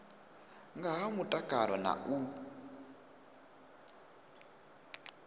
nga ha mutakalo na u